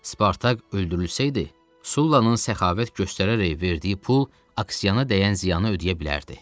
Spartak öldürülsəydi, Sullanın səxavət göstərərək verdiyi pul Aksianaya dəyən ziyanı ödəyə bilərdi.